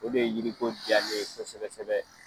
O de ye yiri ko diya ne ye ko sɛbɛ sɛbɛ .